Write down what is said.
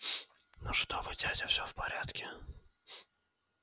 ну что вы дядя всё в порядке